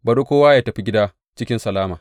Bari kowa yă tafi gida cikin salama.’